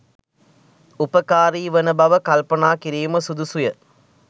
උපකාරී වන බව කල්පනා කිරීම සුදුසුය.